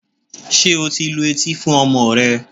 Ṣé o ti lu etí fún ọmọ rẹ?